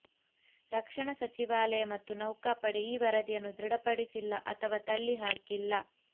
ರಕ್ಷಣಾ ಸಚಿವಾಲಯ ಮತ್ತು ನೌಕಾಪಡೆ ಈ ವರದಿಯನ್ನು ದೃಢಪಡಿಸಿಲ್ಲ ಅಥವಾ ತಳ್ಳಿ ಹಾಕಿಲ್ಲ